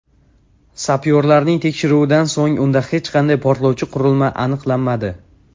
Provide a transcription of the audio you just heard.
Sapyorlarning tekshiruvidan so‘ng unda hech qanday portlovchi qurilma aniqlanmadi.